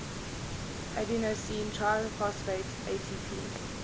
adenosine triphosphate atp